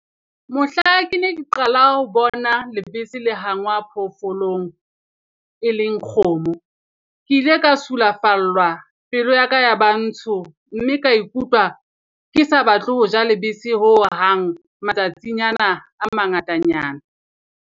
Mohla ke ne ke qala ho bona lebese la hangwa phoofolong, e leng kgomo. Ke ile ka sulafallwa, pelo ya ka ya ba ntsho mme ka ikutlwa ke sa batle ho ja lebese hohang matsatsinyana a mangatanyana.